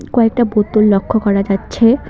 কয়েকটা বোতল লক্ষ্য করা যাচ্ছে।